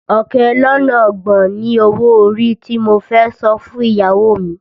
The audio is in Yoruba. Ọ̀kẹ́ lọ́nà ọgbọ̀n ni owó orí tí mo fẹ́ san fún ìyàwó mi